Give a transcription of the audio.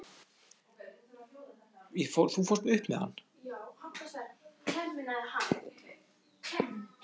Stærsta súkkulaðistykki heims